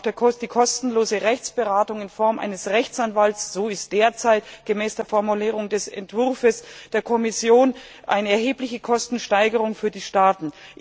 Auch die kostenlose Rechtsberatung in Form eines Rechtsanwalts so lautet derzeit die Formulierung des Entwurfs der Kommission bedeutet eine erhebliche Kostensteigerung für die Staaten.